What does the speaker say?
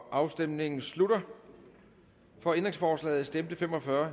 afstemningen slutter for ændringsforslaget stemte fem og fyrre